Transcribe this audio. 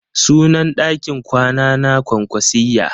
Sunan ɗakin kwana na kwankwasiyya.